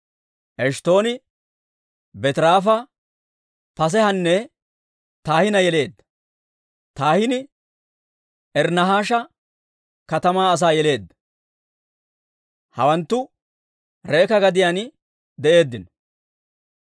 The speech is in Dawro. Eshttooni Beetiraafa, Paaseehanne Tahinna yeleedda. Tahinni Iri-Nahaasha katamaa asaa yeleedda. Hawanttu Reeka gadiyaan de'eeddino.